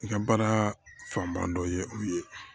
I ka baara fanba dɔ ye u ye